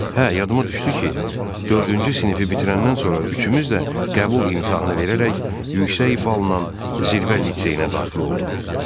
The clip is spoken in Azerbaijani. Hə, yadıma düşdü ki, dördüncü sinifi bitirəndən sonra üçümüz də qəbul imtahanı verərək yüksək balla zirvə liseyinə daxil olduq.